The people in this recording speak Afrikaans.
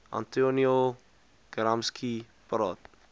antonio gramsci praat